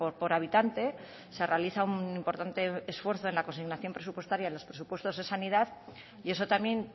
por habitante se realiza un importante esfuerzo en la consignación presupuestaria en los presupuestos de sanidad y eso también